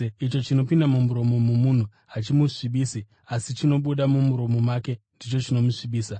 Icho chinopinda mumuromo momunhu ‘hachimusvibisi’, asi chinobuda mumuromo make ndicho ‘chinomusvibisa’.”